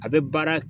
A bɛ baara